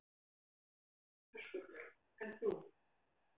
Höskuldur: En þú?